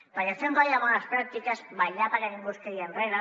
perquè fer un codi de bones pràctiques vetllar perquè ningú es quedi enrere